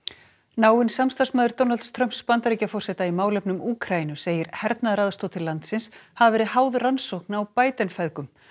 náinn samstarfsmaður Donalds Trumps Bandaríkjaforseta í málefnum Úkraínu segir hernaðaraðstoð til landsins hafa verið háð rannsókn á Biden feðgum